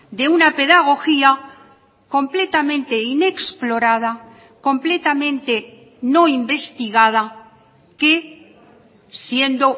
de una pedagogía completamente inexplorada completamente no investigada que siendo